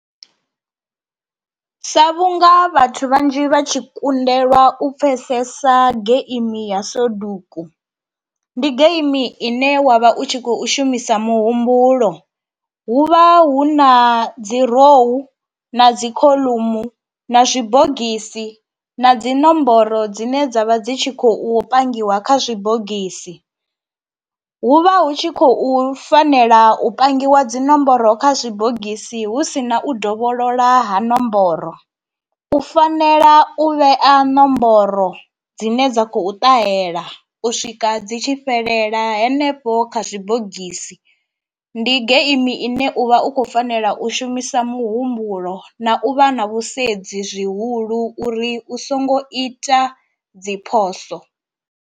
Sa vhunga vhathu vhanzhi vha tshi kundelwa u pfhesesa geimi ya soduku, ndi geimi ine wa vha u tshi khou shumisa muhumbulo, hu vha hu na dzi rou na dzikhoḽomu na zwibogisi na dzi nomboro dzine dzavha dzi tshi khou pangiwa kha zwibogisi, hu vha hu tshi khou fanela u pangiwa dzinomboro kha zwibogisi hu si na u dovholola ha nomboro, u fanela u vhea nomboro dzine dza khou ṱahela u swika dzi tshi fhelela hanefho kha zwibogisi, ndi geimi ine u vha u khou fanela u shumisa muhumbulo na u vha na vhusedzi zwihulu uri u songo ita dzi phoso.